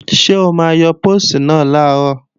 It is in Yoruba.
Ṣé o máa yọ póòstì náà làárọ̀?